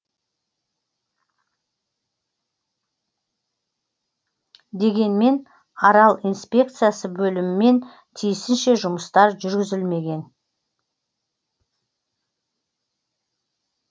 дегенмен арал инспекциясы бөлімімен тиісінше жұмыстар жүргізілмеген